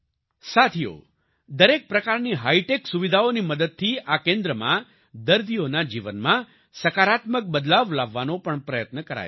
સાથીઓ દરેક પ્રકારની હાઈટેક સુવિધાઓની મદદથી આ કેન્દ્રમાં દર્દીઓના જીવનમાં સકારાત્મક બદલાવ લાવવાનો પણ પ્રયત્ન કરાય છે